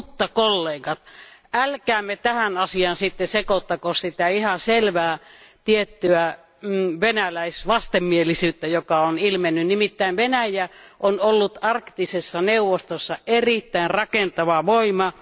Mutta kollegat, älkäämme tähän asiaan sekoittako sitä ihan selvää tiettyä venäläisvastenmielisyyttä, jota on ilmennyt. Nimittäin Venäjä on ollut Arktisessa neuvostossa erittäin rakentava voima.